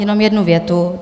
Jenom jednu větu.